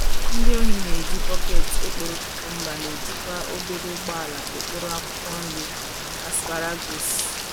Ndị ohi na - eji bọket ekporo cucumber, na - ejikwa obere ụgbọala ekporo akwụkwọ nri asparagus.